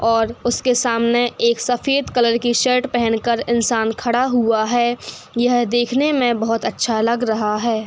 और उसके सामने एक सफेद कलर की शर्ट पहन कर इंसान खड़ा हुआ है। यह देखने में बहुत अच्छा लग रहा है।